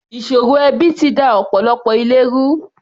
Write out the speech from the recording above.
Ìṣòro ẹbi ti da ọ̀pọ̀lọpọ̀ ilé ru.